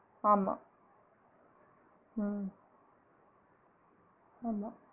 ஆமா உம் ஆமா